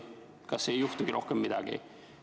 Kas ei juhtugi rohkem midagi?